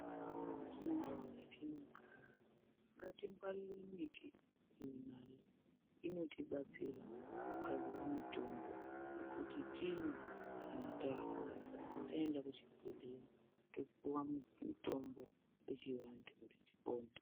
Mundau metinogara ngatingwarire miti Inotibatsira kugadzire mitombo kuti timwe kana tarwara taenda kuzvibhehlera topiwa mitombo yechivandu kuti tipone .